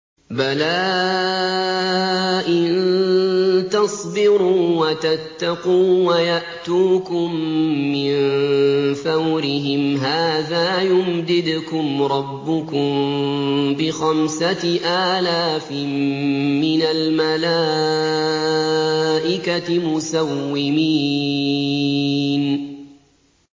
بَلَىٰ ۚ إِن تَصْبِرُوا وَتَتَّقُوا وَيَأْتُوكُم مِّن فَوْرِهِمْ هَٰذَا يُمْدِدْكُمْ رَبُّكُم بِخَمْسَةِ آلَافٍ مِّنَ الْمَلَائِكَةِ مُسَوِّمِينَ